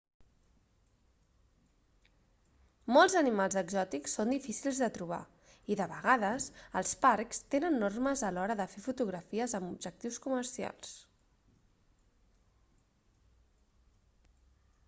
molts animals exòtics són difícils de trobar i de vegades els parcs tenen normes a l'hora de fer fotografies amb objectius comercials